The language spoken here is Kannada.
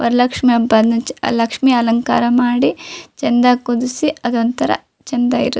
ವರಲಕ್ಷ್ಮಿ ಹಬ್ಬದಲ್ಲಿ ಲಕ್ಷ್ಮಿ ಅಲಂಕಾರ ಮಾಡಿ ಚಂದ ಕೂರಿಸಿ ಅದೊಂದು ತರ ಚಂದ ಇರುತ್ತೆ.